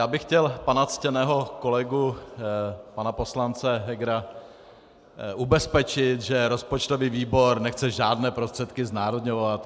Já bych chtěl pana ctěného kolegu, pana poslance Hegera, ubezpečit, že rozpočtový výbor nechce žádné prostředky znárodňovat.